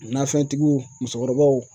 Nafɛntigiw musokɔrɔbaw